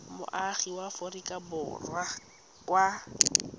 moagi wa aforika borwa ka